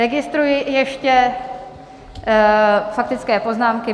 Registruji ještě faktické poznámky.